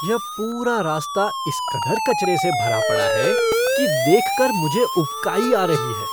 यह पूरा रास्ता इस कदर कचरे से भरा पड़ा है कि देख कर मुझे उबकाई आ रही है।